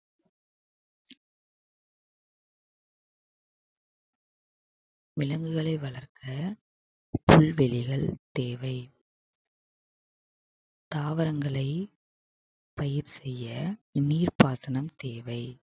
விலங்குகளை வளர்க்க புல்வெளிகள் தேவை தாவரங்களை பயிர் செய்ய நீர்ப்பாசனம் தேவை